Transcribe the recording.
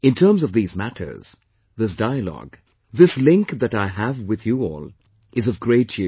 In terms of these matters, this dialogue, this link that I have with you all, is of great use